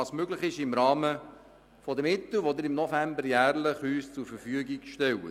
Er tut, was im Rahmen der Mittel möglich ist, die Sie ihm jährlich im November zur Verfügung stellen.